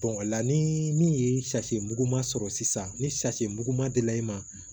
o la ni min ye safinɛ mugu ma sɔrɔ sisan ni safinɛ mugu ma deli ma